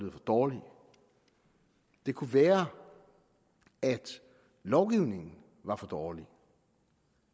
dårlige det kunne være at lovgivningen er for dårlig